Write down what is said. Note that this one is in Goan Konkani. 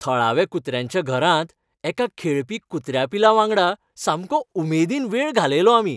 थळाव्या कुत्र्यांच्या घरांत एका खेळपी कुत्र्या पिलावांगडा सामको उमेदीन वेळ घालयलो आमी.